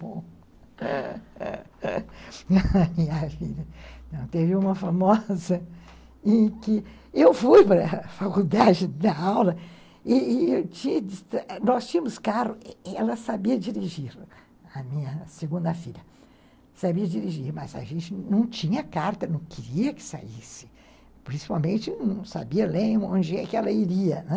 Bom, minha filha, teve uma famosa em que eu fui para a faculdade dar aula e e nós tínhamos carro e ela sabia dirigir, a minha segunda filha, sabia dirigir, mas a gente não tinha carta, não queria que saísse, principalmente não sabia ler onde é que ela iria, né?